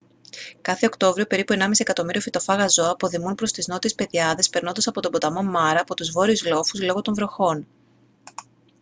κάθε οκτώβριο περίπου 1.5 εκατομμύριο φυτοφάγα ζώα αποδημούν προς τις νότιες πεδιάδες περνώντας από τον ποταμό μάρα από τους βόρειους λόφους λόγω των βροχών